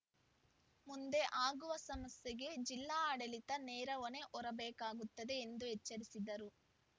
ಮುಂದೆ ಆಗುವ ಸಮಸ್ಯೆಗೆ ಜಿಲ್ಲಾ ಆಡಳಿತ ನೇರ ಹೊಣೆ ಹೊರಬೇಕಾಗುತ್ತದೆ ಎಂದು ಎಚ್ಚರಿಸಿದರು